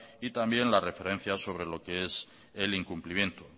y también la referencia sobre lo que es el incumplimiento